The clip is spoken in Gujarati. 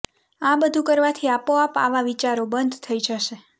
આ બધું કરવાથી આપોઆપ આવા વિચારો બંધ થઇ જશે